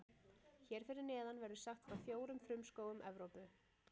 Hér fyrir neðan verður sagt frá fjórum frumskógum Evrópu.